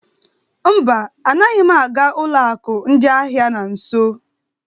Mba, anaghị m aga ụlọ akụ ndị ahịa na nso.